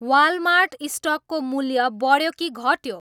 Walmart स्टकको मूल्य बढ्यो कि घट्यो